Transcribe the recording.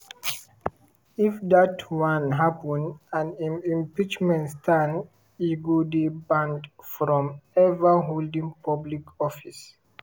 if dat one happen and im impeachment stand e go dey banned from ever holding public office.